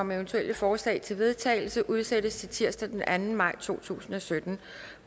om eventuelle forslag til vedtagelse udsættes til tirsdag den anden maj to tusind og sytten